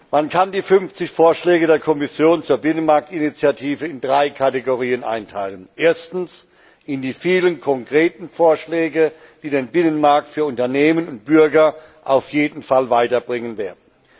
Man kann die 50 Vorschläge der Kommission zur Binnenmarktinitiative in drei Kategorien einteilen erstens in die vielen konkreten Vorschläge, die den Binnenmarkt für Unternehmen und Bürger auf jeden Fall weiterbringen werden.